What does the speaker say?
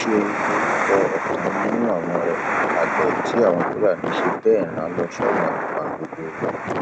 ṣẹun lorúkọ ọkan nínú àwọn àgbẹ tí àwọn fúlàní ṣe bẹẹ rán lọ sọrun àpàǹdodo